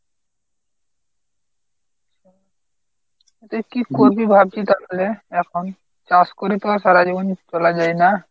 তা কী করবি ভাবছিস তাহলে এখন? চাষ করে তো আর সারাজীবন চলা যায় না।